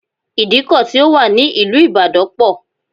Ìdíkọ̀ ti ó wà ní ìlú ìbàdàn pọ̀